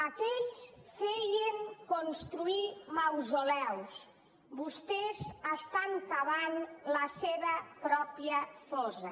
aquells feien construir mausoleus vostès estan cavant la seva pròpia fossa